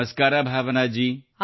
ನಮಸ್ಕಾರ ಭಾವನಾ ಜೀ